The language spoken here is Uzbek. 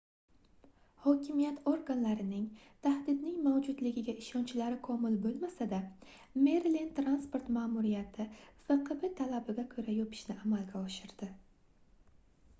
hokimiyat organlarining tahdidning mavjudligiga ishonchlari komil boʻlmasada merilend transport maʼmuriyati fqb talabiga koʻra yopishni amalga oshirdi